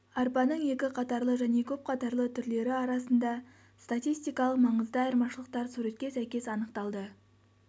арпаның екі қатарлы және көпқатарлы түрлері арасында статистикалық маңызды айырмашылықтар суретке сәйкес анықталды